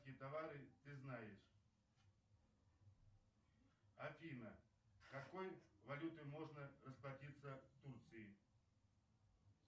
какие товары ты знаешь афина какой валютой можно расплатиться в турции